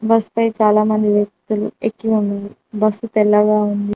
Bus పై చాలామంది వ్యక్తులు ఎక్కి ఉన్నాయి బస్సు తెల్లగా ఉంది.